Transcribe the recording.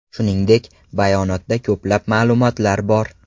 Shuningdek, bayonotda ko‘plab ma’lumotlar bor.